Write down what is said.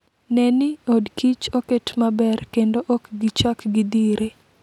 Ne ni od kich oket maber kendo ok gichak gidhire.